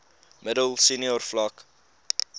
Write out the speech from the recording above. middel senior vlak